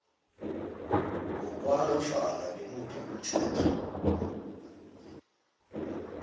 ngokwanofana ngimuphi umthetho